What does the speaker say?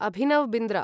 Abhinav Bindra